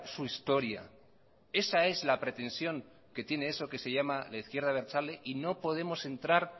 su historia esa es la pretensión que tiene eso que se llama la izquierda abertzale y no podemos entrar